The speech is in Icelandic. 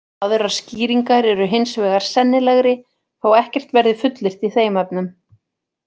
Aðrar skýringar eru hins vegar sennilegri þótt ekkert verði fullyrt í þeim efnum.